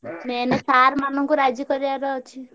Main sir ମାନଙ୍କୁ ରାଜି କରେଇଆର ଅଛି।